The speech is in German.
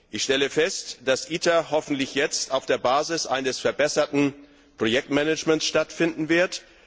Ich stelle fest, dass ITER hoffentlich jetzt auf der Basis eines verbesserten Projektmanagements stattfinden wird.